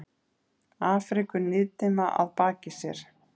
Afríku niðdimma að baki sér.